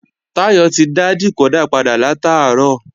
Táyọ̀ ti dá dìkódà padà látàárọ̀